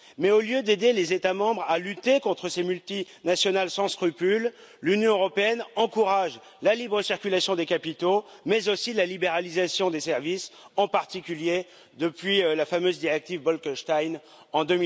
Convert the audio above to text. Mais au lieu d'aider les États membres à lutter contre ces multinationales sans scrupules, l'Union européenne encourage la libre circulation des capitaux, mais aussi la libéralisation des services, en particulier depuis la fameuse directive Bolkenstein de